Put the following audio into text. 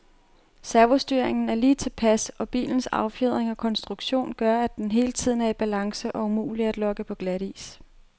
Servostyringen er lige tilpas, og bilens affjedring og konstruktion gør, at den hele tiden er i balance og umulig at lokke på glatis.